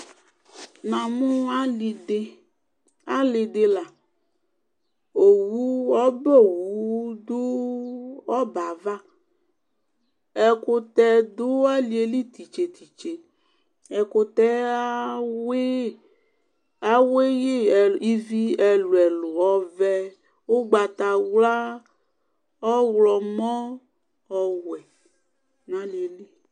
Namʋ alidila owʋdʋ ɔbɛ ava ɛkʋtɛ dʋ aliyeli titse nʋ titse ɛkʋtɛ yɛ awiyi nʋ ivi ɛlʋ ɛlʋ ɔvɛ ʋgbatawla ɔwlɔmɔ ɔwɛ nʋ aliyeli